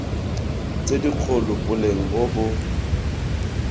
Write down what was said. tse dikgolo boleng bo bo